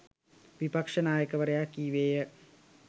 විපක්ෂ නායකවරයා කීවේය.